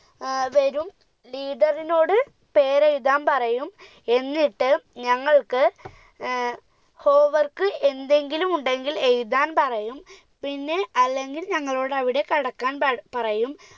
ഏർ വരും leader നോട് പേരെഴുതാൻ പറയും എന്നിട്ട് ഞങ്ങൾക്ക് ഏർ home work എന്തെങ്കിലുമുണ്ടെങ്കിൽ എഴുതാൻ പറയും പിന്നെ അല്ലെങ്കിൽ ഞങ്ങളോട് അവിടെ കിടക്കാൻ പ പറയും